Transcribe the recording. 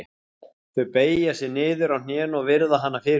Þau beygja sig niður á hnén og virða hana fyrir sér.